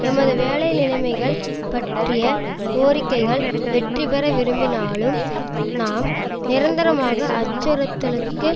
எமது வேலை நிலைமைகள் பற்றிய கோரிக்கைகள் வெற்றிபெற விரும்பினாலும் நாம் நிரந்தரமாக அச்சறுத்தலுக்கு